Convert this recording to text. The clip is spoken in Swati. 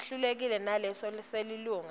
sehlukile kunalesi selilunga